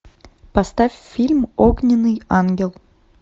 поставь фильм огненный ангел